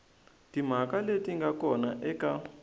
timhaka leti nga kona eka